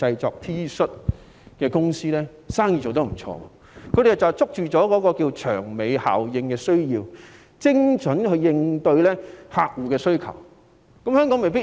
這些公司就把握了"長尾效應"的需要，精準地應對客戶的需求。